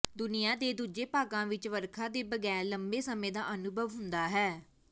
ਦੁਨੀਆਂ ਦੇ ਦੂਜੇ ਭਾਗਾਂ ਵਿੱਚ ਵਰਖਾ ਦੇ ਬਗੈਰ ਲੰਮੇ ਸਮੇਂ ਦਾ ਅਨੁਭਵ ਹੁੰਦਾ ਹੈ